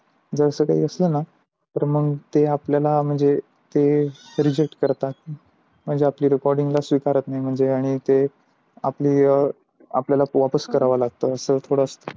जर अस काही असते न तर मग ते आपल्या ला reject करतात म्हणजे आपल्या recording ला स्वीकारत नाही, आणि ते आपल्या ला वापस कराव लागत तर थोड